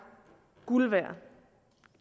guld værd